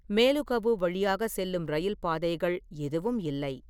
மேலுகவு வழியாக செல்லும் ரயில் பாதைகள் எதுவும் இல்லை.